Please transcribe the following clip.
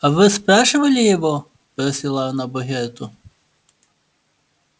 а вы спрашивали его бросила она богерту